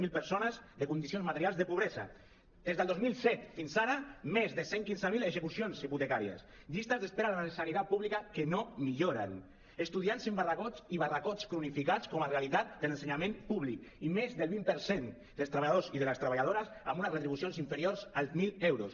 zero persones en condicions materials de pobresa des del dos mil set fins ara més de cent i quinze mil execucions hipotecàries llistes d’espera a la sanitat pública que no milloren estudiants en barracots i barracots cronificats com a realitat de l’ensenyament públic i més del vint per cent dels treballadors i de les treballadores amb unes retribucions inferiors als mil euros